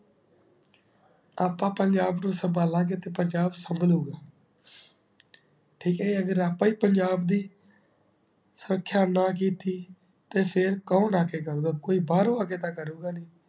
ਆਪਾਂ ਪੰਜਾਬ ਨੂ ਸਬ ਲਾਗ ਤੇ ਪੰਜਾਬ ਸੰਬਲੂੰਗਾ ਠੀਕ ਹੈ ਅਗਰ ਅਗਰ ਆਪਾਂ ਈ ਪੰਜਾਬ ਦੀ ਸਕਯ ਨਾ ਕੀਤੀ ਤੇ ਫਿਰ ਕੋੰ ਆਖੀ ਕਰ ਦਾ ਕੋਈ ਬਾਰੋਂ ਆ ਕੇ ਤਾ ਕਰੁ ਗਾ ਨਈ